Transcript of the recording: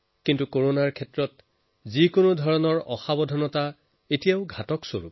কিন্তু কৰোণাক লৈ যিকোনো ধৰণৰ অসতৰ্কতা এতিয়াও বহুত প্ৰাণনাশী